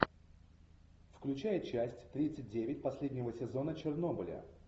включай часть тридцать девять последнего сезона чернобыля